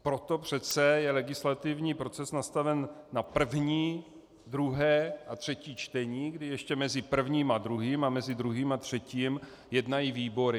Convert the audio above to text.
Proto přece je legislativní proces nastaven na první, druhé a třetí čtení, kdy ještě mezi prvním a druhým a mezi druhým a třetím jednají výbory.